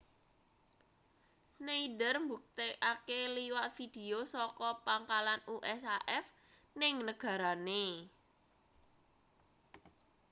schneider mbuktekake liwat video saka pangkalan usaf ning negarane